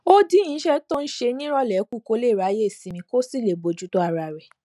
ó dín iṣé tó ń ṣe níròlé kù kó lè ráyè sinmi kó sì lè bójú tó ara rè